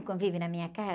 O convívio na minha casa?